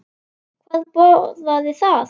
Hvað boðar það?